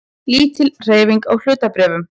Lítil hreyfing á hlutabréfum